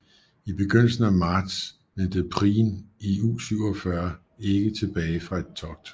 I begyndelsen af marts vendte Prien i U 47 ikke tilbage fra et togt